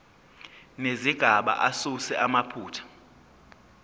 nezigaba asuse amaphutha